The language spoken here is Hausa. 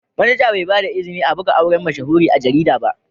Manaja Bai ba da izini a buga auren mashahuri a garida ba.